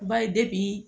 Ba ye